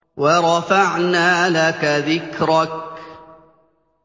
وَرَفَعْنَا لَكَ ذِكْرَكَ